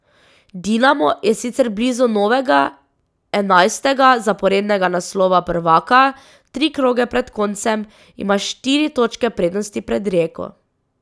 Dinamo je sicer blizu novega, enajstega zaporednega naslova prvaka, tri kroge pred koncem ima štiri točke prednosti pred Rijeko.